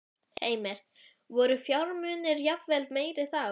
Heimir: Voru fjármunirnir jafnvel meiri þá?